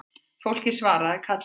Fólkið svaraði kallinu